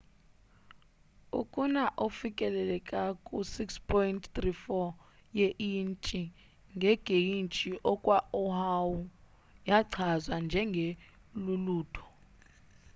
ukuna ofikelela ku 6.34 ye intshi ngegeyji kwo oahu yachazwa njenge lulutho